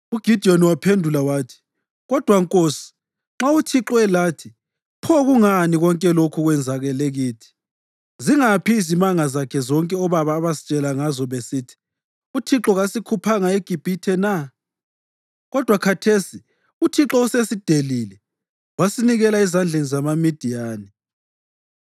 UGidiyoni waphendula wathi, “Kodwa nkosi, nxa uThixo elathi, pho kungani konke lokhu kwenzakele kithi? Zingaphi izimanga zakhe zonke obaba abasitshela ngazo besithi, ‘ UThixo kasikhuphanga eGibhithe na?’ Kodwa khathesi uThixo usesidelile wasinikela ezandleni zamaMidiyani.”